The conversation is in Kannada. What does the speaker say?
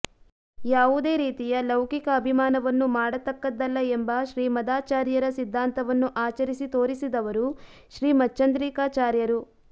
ಯಾವುದೇ ರೀತಿಯ ಲೌಕಿಕ ಅಭಿಮಾನವನ್ನು ಮಾಡತಕ್ಕದ್ದಲ್ಲ ಎಂಬ ಶ್ರೀಮದಾಚಾರ್ಯರ ಸಿದ್ಧಾಂತವನ್ನು ಆಚರಿಸಿ ತೋರಿಸಿದವರು ಶ್ರೀಮಚ್ಚಂದ್ರಿಕಾಚಾರ್ಯರು